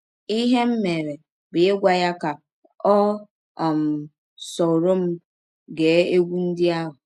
Ihe m mere bụ ịgwa ya ka ọ um sọrọ m gee egwụ ndị ahụ.